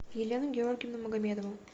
елену георгиевну магомедову